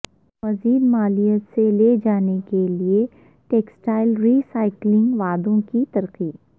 مزید مالیت سے لے جانے کے لئے ٹیکسٹائل ری سائیکلنگ وعدوں کی ترقی